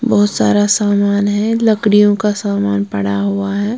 बहुत सारा सामान है लकड़ियों का सामान पड़ा हुआ है।